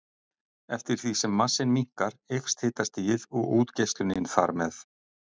Eftir því sem massinn minnkar eykst hitastigið og útgeislunin þar með.